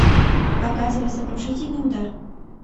показывай сокрушительный удар